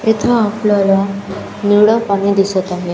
इथं आपल्याला निळं पाणी दिसत आहे.